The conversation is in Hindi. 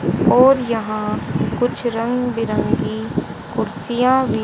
और यहां कुछ रंग बिरंगी कुर्सियां भी--